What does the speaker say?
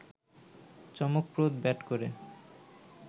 চমকপ্রদ ব্যাট করে